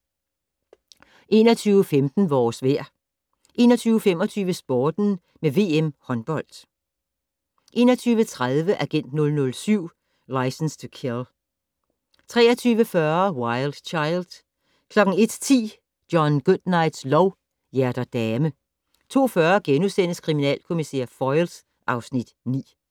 21:15: Vores vejr 21:25: Sporten med VM håndbold 21:30: Agent 007 - Licence to Kill 23:40: Wild Child 01:10: John Goodnights lov: Hjerter dame 02:40: Kriminalkommissær Foyle (Afs. 9)*